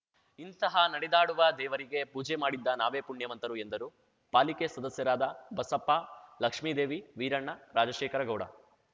ಇಂತಹ ನಡೆದಾಡುವ ದೇವರಿಗೆ ಪೂಜೆ ಮಾಡಿದ್ದ ನಾವೇ ಪುಣ್ಯವಂತರು ಎಂದರು ಪಾಲಿಕೆ ಸದಸ್ಯರಾದ ಬಸಪ್ಪ ಲಕ್ಷ್ಮೀದೇವಿ ವೀರಣ್ಣ ರಾಜಶೇಖರ ಗೌಡ